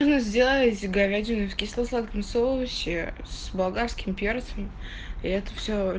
сделать говядина в кисло-сладком соусе с болгарским перцем и это все